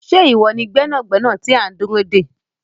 Ṣé iwọ ni gbẹnàgbẹ̀nà tí a ti n dúró dé?